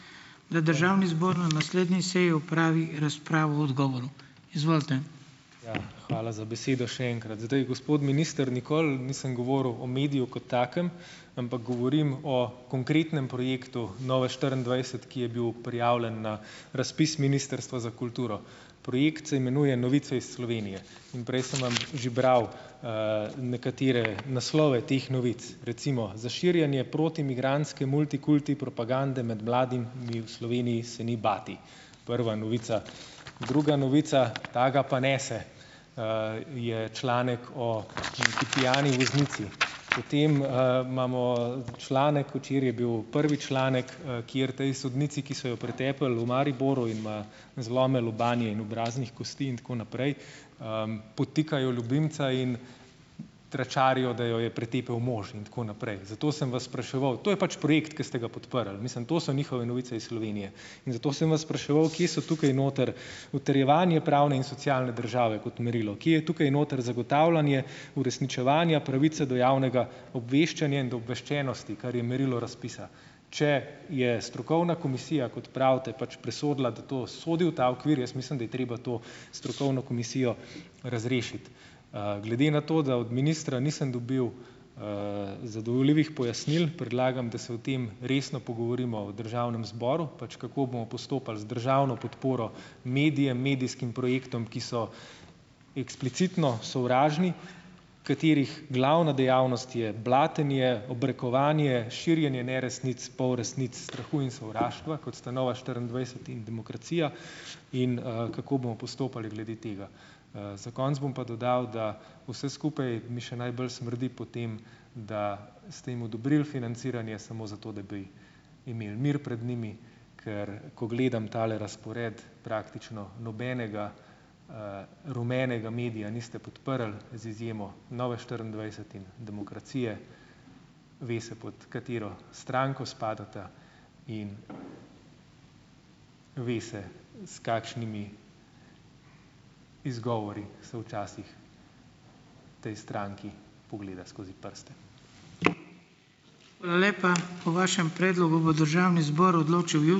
Pred državni zbor na naslednji seji opravi razpravo odgovorov. Izvolite. Ja, hvala za besedo še enkrat. Zdaj, gospod minister, nikoli nisem govoril o mediju kot takem, ampak govorim o konkretnem projektu Nova štiriindvajset, ki je bil prijavljen na razpis Ministrstva za kulturo. Projekt se imenuje Novice iz Slovenije. Prej sem vam že bral, nekatere naslove teh novic. Recimo: Za širjenje protimigrantske multikulti propagande med mladimi v Sloveniji se ni bati. Prva novica. Druga novica , ta ga pa nese, je članek o pijani voznici . Potem, imamo, članek, včeraj je bil prvi članek, kjer tej sodnici, ki so jo pretepli v Mariboru, ima zlome lobanje in obraznih kosti in tako naprej, podtikajo ljubimca in tračarijo, da jo je pretepel mož in tako naprej. To sem vas spraševal. To je pač projekt, ki ste ga podprli. Mislim, to so njihove novice iz Slovenije. Zato sem vas spraševal, kje so tukaj noter utrjevanje pravne in socialne države kot merilo. Kje je tukaj noter zagotavljanje uresničevanja pravice do javnega obveščanja in obveščenosti, kar je merilo razpisa. Če je strokovna komisija, kot pravite, pač presodila, da to sodi v ta okvir, jaz mislim, da je treba to strokovno komisijo razrešiti. glede na to, da od ministra nisem dobil, zadovoljivih pojasnil, predlagam, da se o tem resno pogovorimo v državnem zboru, pač kako bomo postopali z državno podporo medijem, medijskim projektom, ki so eksplicitno sovražni, katerih glavna dejavnost je blatenje, obrekovanje, širjenje neresnic, polresnic, strahu in sovraštva, kot sta Nova štiriindvajset in Demokracija, in, kako bomo postopali glede tega. za konec bom pa dodal, da vse skupaj mi še najbolj smrdi po tem, da se jim odobrili financiranje samo zato, da bi imeli mir pred njimi ker, ko gledam tale razpored, praktično nobenega, rumenega medija niste podprli z izjemo Nove štiriindvajset in Demokracije. Ve se, pod katero stranko spadata, in ve se, s kakšnimi izgovori se včasih potem stranki pogleda skozi prste.